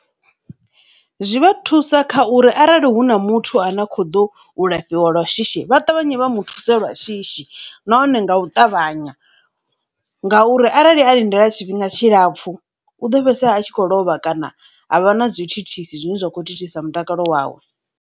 Zwi vha thusa kha uri arali hu na muthu a na kho ḓo u lafhiwa lwa shishi vha ṱavhanye vha mu thusa lwa shishi, nahone nga u ṱavhanya ngauri arali a lindela tshifhinga tshilapfu u ḓo fhedzisela a tshi khou lovha kana ha vha na dzi thithisi zwine zwa kho thithisa mutakalo wawe.